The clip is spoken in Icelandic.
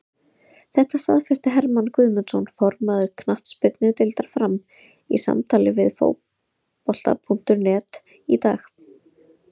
Þetta staðfesti Hermann Guðmundsson, formaður knattspyrnudeildar Fram, í samtali við Fótbolta.net í dag.